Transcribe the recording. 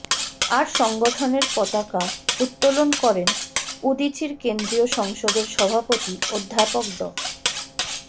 আর সংগঠনের পতাকা উত্তোলন করেন উদীচীর কেন্দ্রীয় সংসদের সভাপতি অধ্যাপক ড